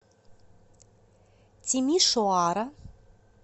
тимишоара